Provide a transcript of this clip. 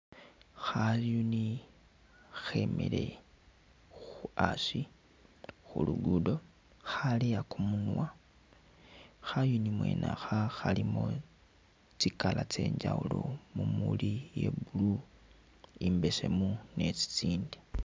Khayuni khemile khu asi khu lugudo, khaleya kumunwa, khayuni mwene akha khalimo tsi color tsye njawulo mumuli iye blue, imbesemu ne tsitsindi